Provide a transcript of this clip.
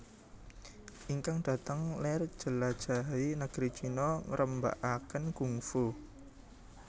Ingkang dhateng ler njelajahi negeri China ngrembakaken kungfu